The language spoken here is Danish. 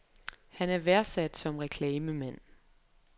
Han er værdsat som reklamemand.